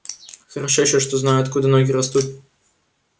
хорошо ещё что знаю откуда ноги растут